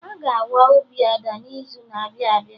Aga awa obi Ada n'izu na-abịa abịa